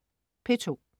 P2: